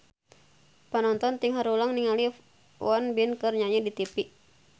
Panonton ting haruleng ningali Won Bin keur nyanyi di tipi